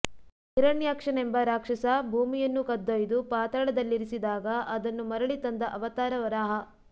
ಹಿರಣ್ಯಾಕ್ಷನೆಂಬ ರಾಕ್ಷಸ ಭೂಮಿಯನ್ನು ಕದ್ದೊಯ್ದು ಪಾತಾಳದಲ್ಲಿರಿಸಿದಾಗ ಅದನ್ನು ಮರಳಿತಂದ ಅವತಾರ ವರಾಹ